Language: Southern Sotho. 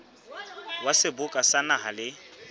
wa seboka sa naha le